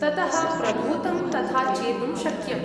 ततः प्रभूतं तथा चेतुं शक्यम्।